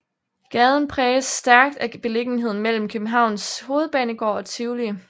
Gaden præges stærkt af beliggenheden mellem Københavns Hovedbanegård og Tivoli